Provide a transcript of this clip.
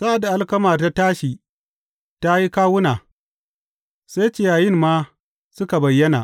Sa’ad da alkamar ta tashi ta yi kawuna, sai ciyayin ma suka bayyana.